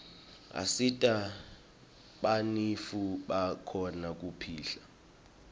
asita banifu bakhone kupihla